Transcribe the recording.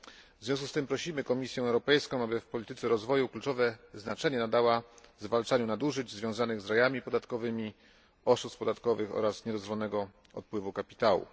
W związku z tym prosimy Komisję Europejską, aby w polityce rozwoju kluczowe znaczenie nadała zwalczaniu nadużyć związanych z rajami podatkowymi, oszustw podatkowych oraz niedozwolonego odpływu kapitału.